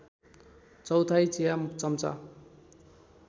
चौथाइ चिया चम्चा